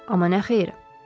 Amma nə xeyir?